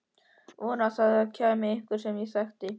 Vonaði að það kæmi einhver sem ég þekkti.